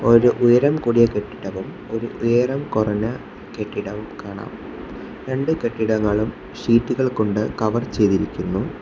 ഒരു ഉയരം കൂടിയ കെട്ടിടവും ഒരു ഉയരം കുറഞ്ഞ കെട്ടിടവും കാണാം രണ്ട് കെട്ടിടങ്ങളും ഷീറ്റുകൾ കൊണ്ട് കവർ ചെയ്തിരിക്കുന്നു.